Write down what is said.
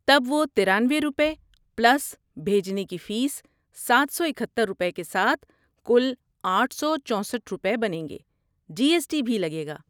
تب وہ ترانوۓ روپے پلس بھیجنے کی فیس سات سو اکہتر روپے کے ساتھ کل آٹھ سو چوسٹھ روپے بنیں گے، جی ایس ٹی بھی لگے گا